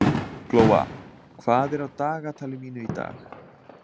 Glóa, hvað er á dagatalinu mínu í dag?